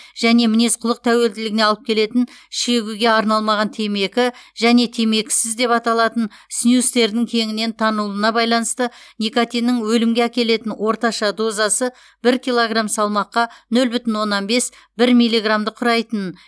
және мінез құлық тәуелділігіне алып келетін шегуге арналмаған темекі және темекісіз деп аталатын снюстердің кеңінен танылуына байланысты никотиннің өлімге әкелетін орташа дозасы бір килограмм салмаққа нөл бүтін оннан бес бір миллиграммды құрайтынын